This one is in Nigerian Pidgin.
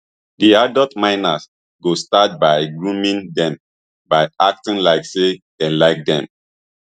di adult miners go start by grooming dem by acting like say dey like dem